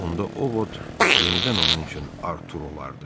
Onda O Vod yenidən onun üçün Artur olardı.